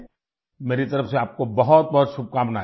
मेरी तरफ से आपको बहुतबहुत शुभकामनाएं